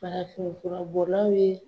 Farafin fura bɔlaw ye